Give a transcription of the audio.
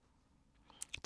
DR1